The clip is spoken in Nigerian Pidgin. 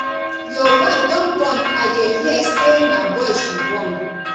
your wife don born i dey hear say na boy she born